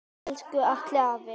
Elsku Atli afi.